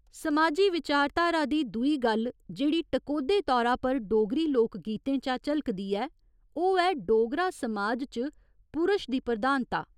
समाजी विचाधारा दी दूई गल्ल जेह्ड़ी टकोह्दे तौरा पर डोगरी लोक गीतें चा झलकदी ऐ, ओह् ऐ डोगरा समाज च पुरश दी प्रधानता।